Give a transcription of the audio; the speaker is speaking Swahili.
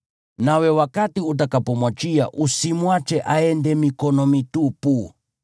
Nawe wakati utakapomwachia usimwache aende mikono mitupu.